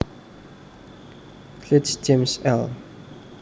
Sledge James L